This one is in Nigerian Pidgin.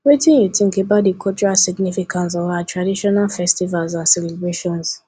wetin you think about di cultural significance of our traditional festivals and celebrations